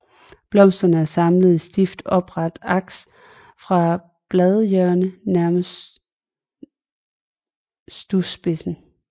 Blomsterne er samlet i stift oprette aks fra bladhjørnerne nærmest skudspidsen